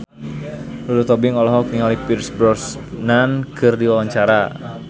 Lulu Tobing olohok ningali Pierce Brosnan keur diwawancara